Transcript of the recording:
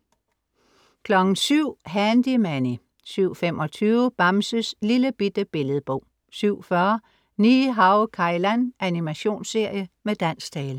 07:00 Handy Manny 07:25 Bamses Lillebitte Billedbog 07:40 Ni-Hao Kai Lan. Animationsserie med dansk tale